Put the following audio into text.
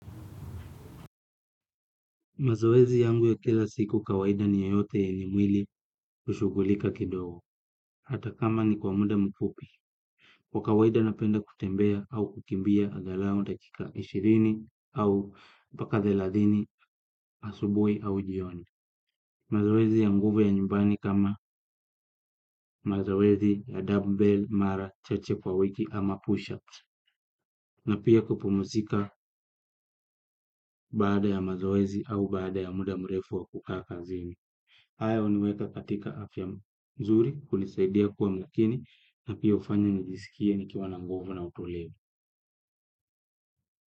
Mazowezi yangu ya kila siku kawaida ni ya yote ya ni mwili ushugulika kidogo. Hata kama ni kwa muda mfupi. Kwa kawaida napenda kutembea au kukimbia agalau dakika ishirini au mpaka thelathini asubui au jioni. Maowezi ya nguvu ya nyumbani kama mazowezi ya dumbbell, mara, chache kwa wiki ama push-ups. Na pia kupumuzika baada ya mazowezi au baada ya muda mrefu wa kukaa kazini. Hayo huniweka katika afya nzuri hunisaidia kuwa makini na pia hufanya nijisikie ni kiwa na nguvu na utulivu.